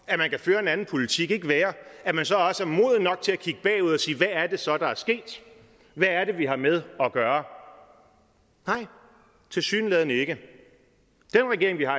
at man kan føre en anden politik ikke være at man så også er moden nok til at kigge bagud og sige hvad er det så der er sket hvad er det vi har med at gøre nej tilsyneladende ikke den regering vi har